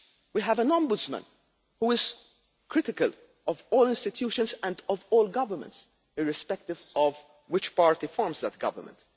We have an ombudsman, who is critical of all institutions and of all governments, irrespective of which party forms that government